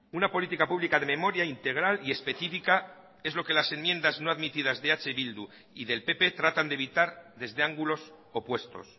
una política pública de memoria integral y específica es lo que las enmiendas no admitidas de eh bildu y del pp tratan de evitar desde ángulos opuestos